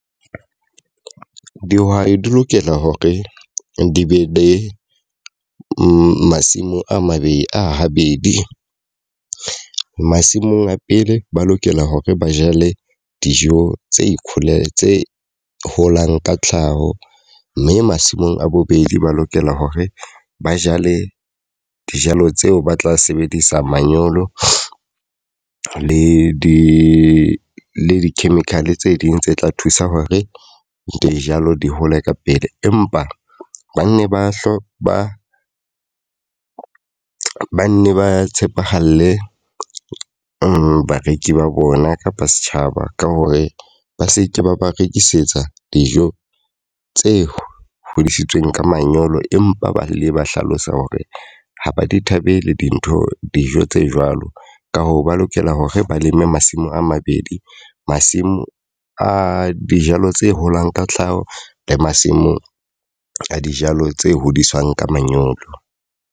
Dihwai di lokela hore di be le masimo a mabedi a habedi. Masimong a pele ba lokela hore ba jale dijo tse ikholela tse holang ka tlhaho. Mme masimong a bobedi ba lokela hore ba jale dijalo tseo ba tla sebedisa manyolo le di le di-chemical tse ding tse tla thusa hore dijalo di hole ka pele. Empa ba nne ba hlo ba ba nne ba tshepahale bareki ba bona kapa setjhaba ka hore ba seke ba ba rekisetsa dijo tse hodisitsweng ka manyolo empa ba le ba hlalosa hore ha ba di thabela dintho dijo tse jwalo. Ka hoo ba lokela hore ba leme masimo a mabedi. Masimo a dijalo tse holang ka tlhaho, le masimo a dijalo tse hodiswang ka manyolo.